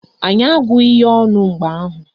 Anyị agụghị ya ọnụ mgbe ahụ